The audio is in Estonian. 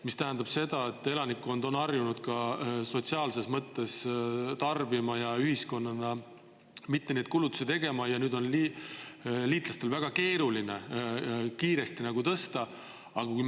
See tähendab seda, et elanikkond on harjunud sotsiaalses mõttes tarbima ja ühiskonnana mitte kulutusi tegema, aga nüüd on liitlastel väga keeruline kiiresti tõsta.